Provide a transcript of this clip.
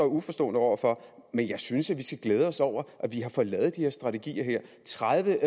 uforstående over for men jeg synes at vi skal glæde os over at vi har fået lavet de strategier her tredive